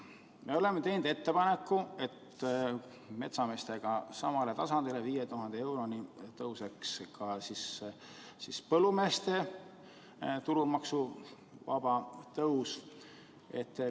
Me oleme teinud ettepaneku, et metsameestega samale tasandile, 5000 euroni tõuseks ka põllumeeste tulumaksuvabastus.